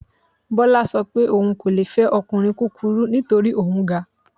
Bọ́lá sọ pé òun ò le fẹ́ ọkùnrin kúkurú nítorí òun ga